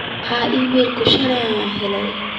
maxaa iimaylo ah shalay aan helay